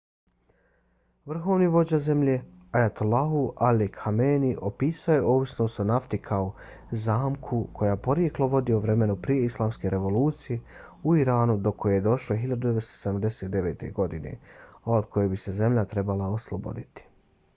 vrhovni vođa zemlje ayatollah ali khamenei opisao je ovisnost o nafti kao zamku koja porijeklo vodi od vremena prije islamske revolucije u iranu do koje je došlo 1979. godine a od koje bi se zemlja trebala osloboditi